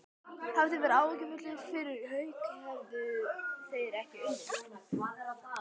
Hefði það verið áhyggjuefni fyrir Hauka, hefðu þeir ekki unnið?